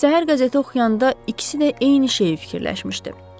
Səhər qəzeti oxuyanda ikisi də eyni şeyi fikirləşmişdi.